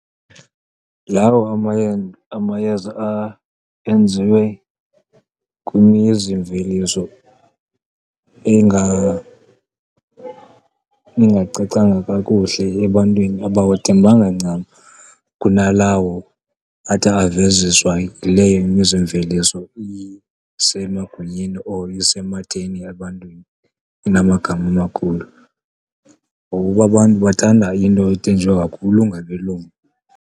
Lawo amayeza enziwe kwimizimveliso engacacanga kakuhle ebantwini, abawathembanga ncam kunalawo athi aveziswa yileyo imizimveliso isemagunyeni or isematheni ebantwini, inamagama amakhulu. Ngokuba abantu bathanda into ethenjwe kakhulu ngabelungu.